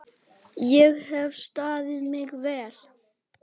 Ég hef staðið mig vel.